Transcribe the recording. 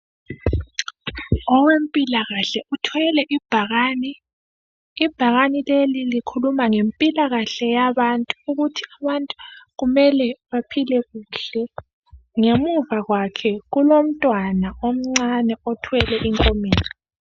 Owempilakahle uthwele ibhakane. Ibhakane likhuluma ngempilakahle yabantu ukuthi abantu kumele baphile kuhle. Ngemuva kwakhe kulomntwana omncane othwele inkomitsho.